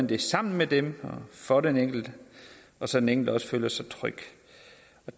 det sammen med dem og for den enkelte så den enkelte også føler sig tryg